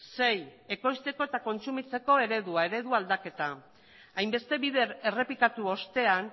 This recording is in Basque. sei ekoizteko eta kontsumitzeko eredua eredu aldaketa hainbeste bider errepikatu ostean